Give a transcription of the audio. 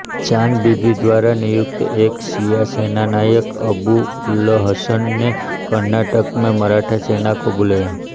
चांद बीबी द्वारा नियुक्त एक शिया सेनानायक अबूउलहसन ने कर्नाटक में मराठा सेना को बुलाया